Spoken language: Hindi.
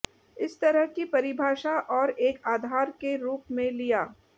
इस तरह की परिभाषा और एक आधार के रूप में लिया